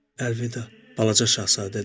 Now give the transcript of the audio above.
Əlvida, balaca Şahzadə dedi.